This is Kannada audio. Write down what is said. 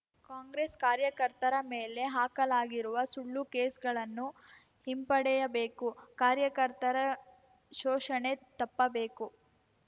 ಕಾಂಗ್ರೆಸ್‌ ಕಾರ್ಯಕರ್ತರ ಮೇಲೆ ಹಾಕಲಾಗಿರುವ ಸುಳ್ಳು ಕೇಸ್‌ಗಳನ್ನು ಹಿಂಪಡೆಯಬೇಕು ಕಾರ್ಯಕರ್ತರ ಶೋಷಣೆ ತಪ್ಪಬೇಕು